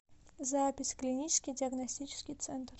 запись клинический диагностический центр